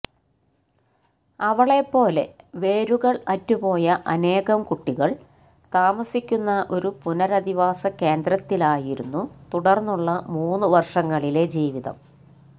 അവളെപ്പോലെ വേരുകള് അറ്റുപോയ അനേകം കുട്ടികള് താമസിക്കുന്ന ഒരു പുനരധിവാസ കേന്ദ്രത്തിലായിരുന്നു തുടര്ന്നുള്ള മൂന്നു വര്ഷങ്ങളിലെ ജീവിതം